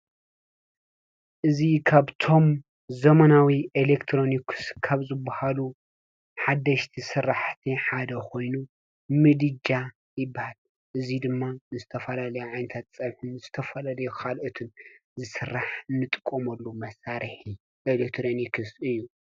እዚ ካብቶም ዘበናዊ ኤሌክትሮኒስ ካብ ዝበሃሉ ሓደሽቲ ስራሕቲ ሓደ ኮይኑ ምድጃ ይበሃል። እዚ ድማ ዝተፋላለዩ ዓይነት ፀብሒ ዝተፈላለዩ ካልኦትን ዓይነት መሳሪሒ ኤሌክትሮኒክስ እዩ።